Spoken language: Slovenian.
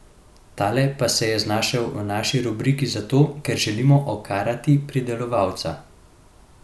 Tale pa se je znašel v naši rubriki zato, ker želimo okarati pridelovalca.